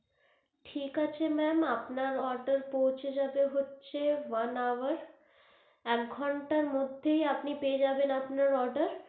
ঠিক আছে ma'am আপনার order পৌঁছে যাবে হচ্ছে one hour এক ঘন্টার মধ্যেই আপনি পেয়ে যাবেন আপনার order.